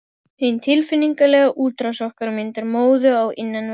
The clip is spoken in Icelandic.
Hin tilfinningalega útrás okkar myndar móðu á innanverð